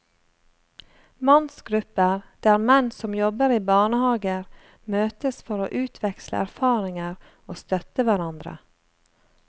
Mannsgrupper der menn som jobber i barnehager møtes for å utveksle erfaringer og støtte hverandre.